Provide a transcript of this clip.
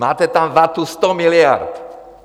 Máte tam vatu 100 miliard.